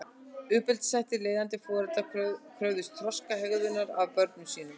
Uppeldishættir Leiðandi foreldrar kröfðust þroskaðrar hegðunar af börnum sínum.